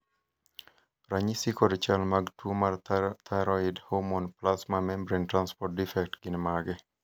ranyisi kod chal mag tuo mar Thyroid hormone plasma membrane transport defect gin mage?